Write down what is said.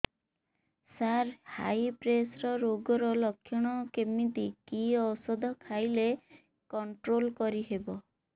ସାର high pressure ରୋଗର ଲଖଣ କେମିତି କି ଓଷଧ ଖାଇଲେ କଂଟ୍ରୋଲ କରିହେବ